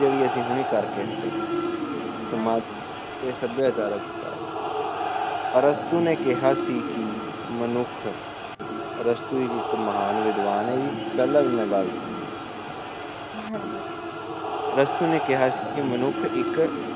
ਸੱਭਿਆਚਾਰਕ ਵਿਕਾਸ ਅਰਸਤੂ ਨੇ ਕਿਹਾ ਕੀ ਸਿ ਮਨੁੱਖ ਅਰਸਤੂ ਇੱਕ ਮਹਾਨ ਵਿਦਵਾਨ ਏ ਇਹ ਪੈਲਾ ਵੀ ਮੈ ਗੱਲ ਸੁਣੀ ਨੇ ਕਿਹਾ ਸੀ ਕਿ ਮਨੁੱਖ ਇੱਕ